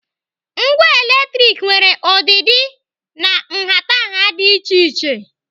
Ngwa latrik nwere ọdịdị na nhatanha dị iche iche.